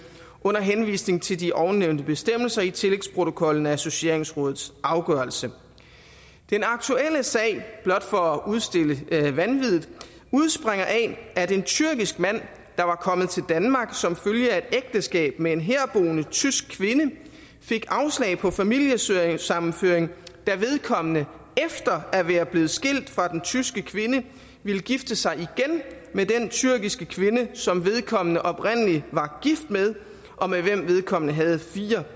under henvisning til de ovennævnte bestemmelser i tillægsprotokollen og associeringsrådets afgørelse den aktuelle sag blot for at udstille vanviddet udspringer af at en tyrkisk mand der var kommet til danmark som følge af et ægteskab med en herboende tysk kvinde fik afslag på familiesammenføring da vedkommende efter at være blevet skilt fra den tyske kvinde ville gifte sig igen med den tyrkiske kvinde som vedkommende oprindelig var gift med og med hvem vedkommende havde fire